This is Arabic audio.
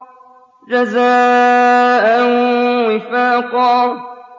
جَزَاءً وِفَاقًا